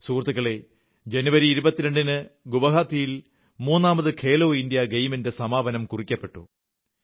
സുഹൃത്തുക്കളേ ജനുവരി 22 ന് ഗുവാഹതിയിൽ മൂന്നാമത് ഖേലോ ഇന്ത്യാ ഗെയിംസിന്റെ സമാപനം കുറിക്കപ്പെട്ടു